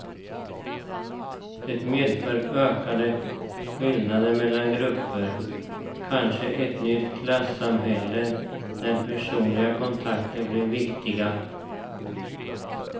Det medför ökade skillnader mellan grupper, kanske ett nytt klassamhälle där personliga kontakter blir viktiga.